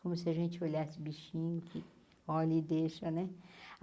Como se a gente olhasse bichinho, que olha e deixa né.